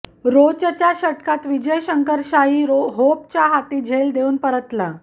रोचच्या षटकात विजय शंकर शायी होपच्या हाती झेल देवून परतला